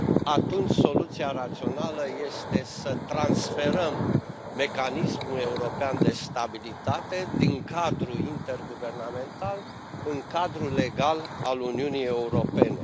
atunci soluția rațională este să transferăm Mecanismul European de Stabilitate din cadrul interguvernamental în cadrul legal al Uniunii Europene.